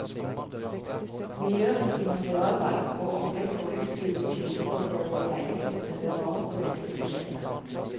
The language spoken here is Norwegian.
Miljøriktig materialvalg og opplegg for utvidet kildesortering i leilighetene hører også med til prosjektet.